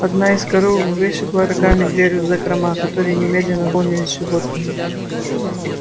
одна из коров вышибла рогами дверь в закрома которые немедленно наполнились животными